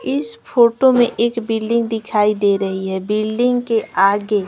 इस फोटो में एक बिल्डिंग दिखाई दे रही है बिल्डिंग के आगे--